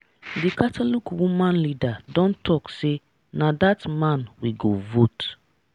d catholic woman leader don talk say na that man we go vote.